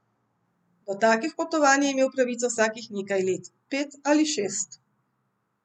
Do takih potovanj je imel pravico vsakih nekaj let, pet ali šest.